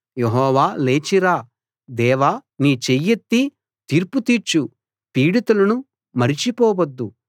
యెహోవా లేచి రా దేవా నీ చెయ్యెత్తి తీర్పు తీర్చు పీడితులను మరిచిపోవద్దు